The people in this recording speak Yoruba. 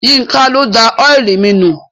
Yínká ló da ọ́ìlì mi nù.